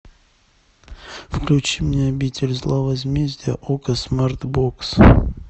включи мне обитель зла возмездие окко смарт бокс